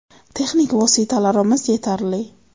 Texnik vositalarimiz yetarli.